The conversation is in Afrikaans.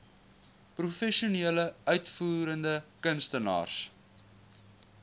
professionele uitvoerende kunstenaars